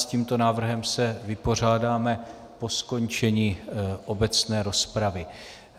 S tímto návrhem se vypořádáme po skončení obecné rozpravy.